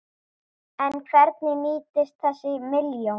En hvernig nýtist þessi milljón?